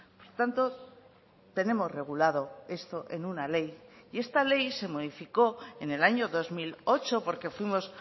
por tanto tenemos regulado esto en una ley y esta ley se modificó en el año dos mil ocho porque fuimos